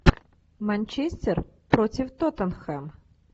манчестер против тоттенхэм